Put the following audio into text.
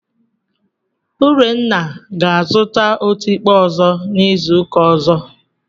Urenna ga-azụta otikpo ọzọ n'izu ụka ọzọ.